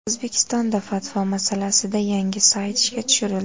O‘zbekistonda fatvo masalasida yangi sayt ishga tushirildi.